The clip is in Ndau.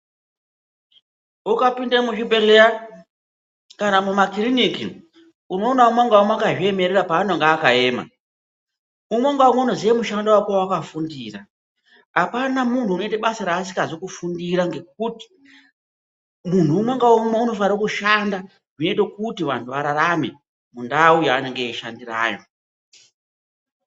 Ukapinda muzvibhehleya kana muma kiriniki unoona umwe ngaumwe akazviemerera panonga akaema. Umwe ngaumwe unoziya mushando wake wakafundira. Apana munhu unoita basa rasikazi kufundira ngekuti munhu umwe ngaumwe unofanira kushanda zvinoita kuti vantu vararame mundau yanenge eishandirayo.